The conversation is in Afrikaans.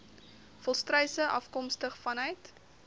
volstruise afkomstig vanuit